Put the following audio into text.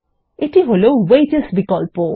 এটি হলো ওয়েজস বিকল্প